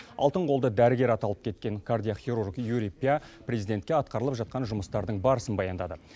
алтын қолды дәрігер аталып кеткен кардиохирург юрий пя президентке атқарылып жатқан жұмыстардың барысын баяндады